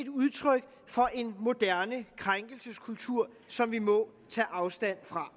udtryk for en moderne krænkelseskultur som vi må tage afstand fra